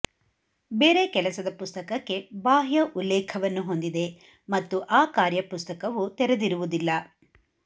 ಬೇರೆ ಕೆಲಸದ ಪುಸ್ತಕಕ್ಕೆ ಬಾಹ್ಯ ಉಲ್ಲೇಖವನ್ನು ಹೊಂದಿದೆ ಮತ್ತು ಆ ಕಾರ್ಯಪುಸ್ತಕವು ತೆರೆದಿರುವುದಿಲ್ಲ